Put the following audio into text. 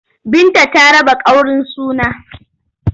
Binta ta raba ƙaurin suna.